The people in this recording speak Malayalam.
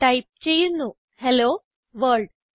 ടൈപ്പ് ചെയ്യുന്നു ഹെല്ലോ വർൾഡ്